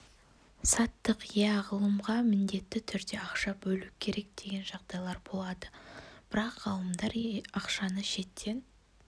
саттық иә ғылымға міндетті түрде ақша бөлу керек деген жағдайлар болады бірақ ғалымдар ақшаны шеттен